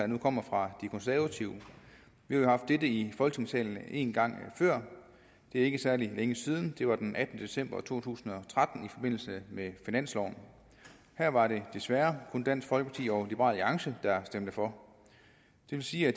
nu kommer fra de konservative vi har jo haft dette i folketingssalen en gang før det er ikke særlig længe siden det var den attende december to tusind og tretten i forbindelse med finansloven her var det desværre kun dansk folkeparti og liberal alliance der stemte for det vil sige at